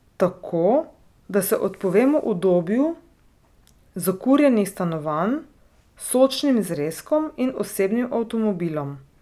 Tako, da se odpovemo udobju zakurjenih stanovanj, sočnim zrezkom in osebnim avtomobilom.